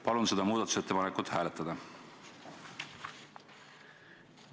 Palun seda muudatusettepankut hääletada!